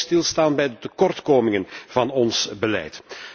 We moeten ook stilstaan bij de tekortkomingen van ons beleid.